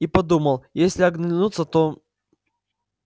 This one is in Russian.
и подумал если оглянутся то